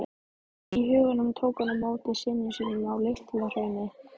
í huganum tók hann á móti syni sínum á LitlaHrauni.